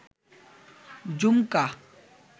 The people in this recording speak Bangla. ঝুমকা